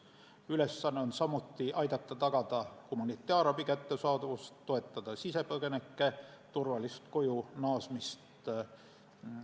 Ülesanne on samuti aidata tagada humanitaarabi kättesaadavust ja toetada sisepõgenike turvalist kojunaasmist.